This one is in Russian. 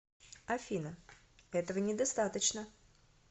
афина этого недостаточно